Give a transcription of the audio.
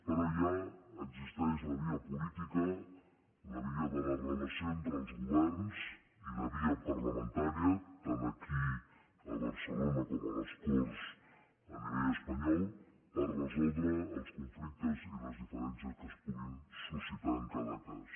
però hi ha la via política la via de la relació entre els governs i la via parlamentària tant aquí a barcelona com a les corts a nivell espanyol per resoldre els conflictes i les diferències que es puguin suscitar en cada cas